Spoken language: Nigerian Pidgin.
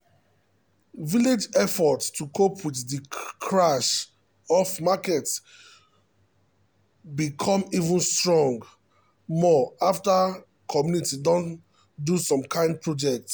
village effort to cope with de crash um of market be come even strong um more after community do some kind projects. um